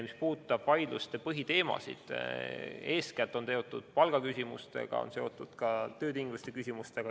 Mis puudutab vaidluste põhiteemasid, siis eeskätt on need seotud palgaküsimustega, aga ka töötingimustega.